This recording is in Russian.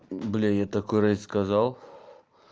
блядь я такое разве сказал